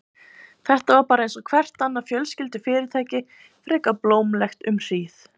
Þetta var bara einsog hvert annað fjölskyldufyrirtæki, frekar blómlegt um hríð.